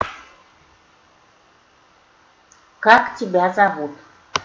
как тебя зовут